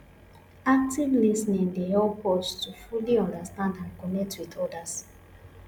active lis ten ing dey help us to fully understand and connect with odas